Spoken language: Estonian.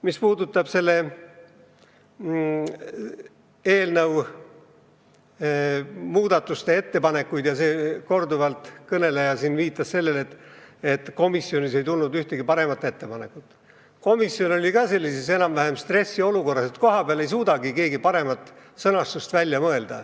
Mis puudutab selle eelnõu muutmise ettepanekuid ja seda, et kõneleja viitas siin sellele, et komisjonis ei tulnud ühtegi paremat ettepanekut, siis komisjon oli sellises enam-vähem stressiolukorras, adudes, et kohapeal ei suudagi keegi paremat sõnastust välja mõelda.